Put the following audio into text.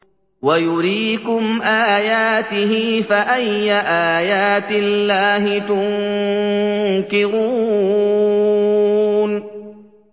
وَيُرِيكُمْ آيَاتِهِ فَأَيَّ آيَاتِ اللَّهِ تُنكِرُونَ